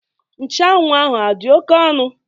Nchuanwu ahụ adị oke ọnụ?